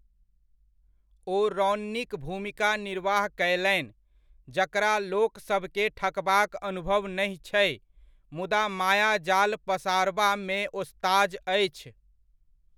ओ रौन्नीक भूमिकाक निर्वाह कयलनि, जकरा लोक सभकेँ ठकबाक अनुभव नहि छै, मुदा मायाजाल पसारबा मे ओस्ताज अछि।